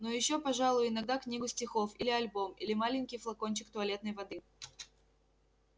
ну ещё пожалуй иногда книгу стихов или альбом или маленький флакончик туалетной воды